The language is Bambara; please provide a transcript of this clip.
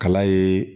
Kala ye